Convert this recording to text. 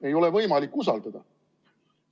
Ei ole võimalik usaldada!